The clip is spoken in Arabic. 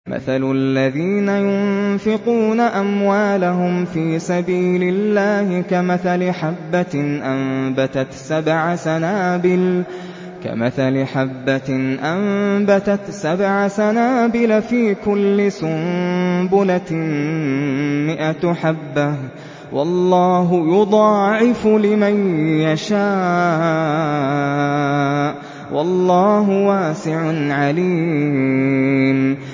مَّثَلُ الَّذِينَ يُنفِقُونَ أَمْوَالَهُمْ فِي سَبِيلِ اللَّهِ كَمَثَلِ حَبَّةٍ أَنبَتَتْ سَبْعَ سَنَابِلَ فِي كُلِّ سُنبُلَةٍ مِّائَةُ حَبَّةٍ ۗ وَاللَّهُ يُضَاعِفُ لِمَن يَشَاءُ ۗ وَاللَّهُ وَاسِعٌ عَلِيمٌ